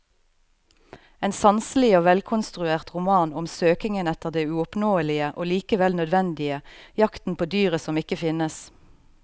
En sanselig og velkonstruert roman om søkingen etter det uoppnåelige og likevel nødvendige, jakten på dyret som ikke finnes.